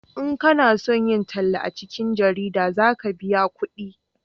in kana son yin talla a cikin jarida za ka biya kudi